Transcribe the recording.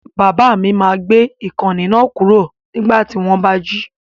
Bàbá mi máa gbé gbé ìkànnì náà kúrò nígbà tí wọ́n bá jí.